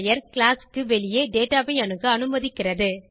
class க்கு வெளியே data ஐ அணுக அனுமதிக்கிறது